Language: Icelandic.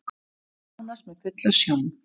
Er nánast með fulla sjón